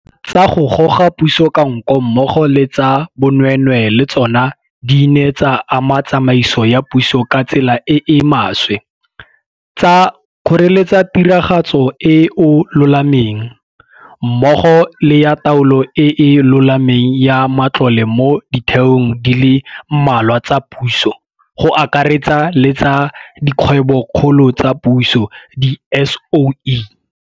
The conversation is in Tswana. tsa go goga puso ka nko mmogo le tsa bonweenwee le tsona di ne tsa ama tsamaiso ya puso ka tsela e e maswe, tsa kgoreletsa tiragatso e e lolameng, mmogo le ya taolo e e lolameng ya matlole mo ditheong di le mmalwa tsa puso, go akaretsa le tsa Dikgwebokgolo tsa Puso, di-SOE.